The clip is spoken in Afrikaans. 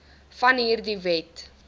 van hierdie wet